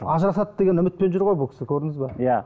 ажырасады деген үмітпен жүр ғой бұл кісі көрдіңіз бе иә